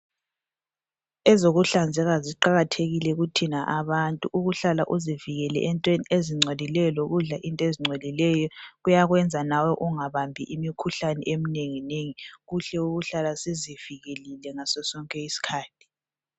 Ezokuhlanzeka ziqakathekile kuthina abantu ukuhlala uzivikele entweni ezingcolileyo lokudla into ezingcolileyo kuyakwenza lawe ungabambi imikhuhlane eminenginengi kuhle ukuhlala sizivikelile ngaso sonke isikhathi